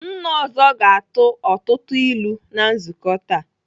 Nna ọzọ ga-atụ ọtụtụ ilu na nzukọ taa.